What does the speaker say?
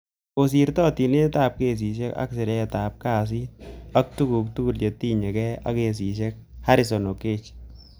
Kosirto tilindet ap kesishek ap siret ap kasit ak tukuk tugul che tinye kei ak kasishek Harrison Okeche.